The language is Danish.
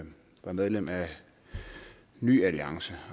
var medlem af ny alliance